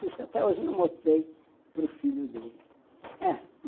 Puxa, até hoje não mostrei para o filho dele.